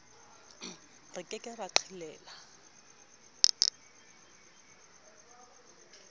re ke ke ra qhelela